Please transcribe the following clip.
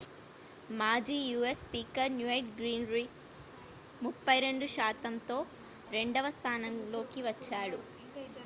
మాజీ u.s. Speaker newt gingrich 32 శాతంతో రెండవ స్థానంలోకి వచ్చాడు